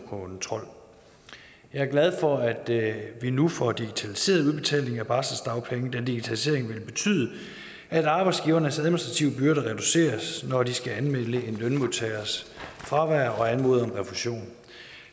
og kontrol jeg er glad for at vi nu får digitaliseret udbetalingen af barselsdagpenge da digitaliseringen vil betyde at arbejdsgivernes administrative byrder reduceres når de skal anmelde en lønmodtagers fravær og anmode om refusion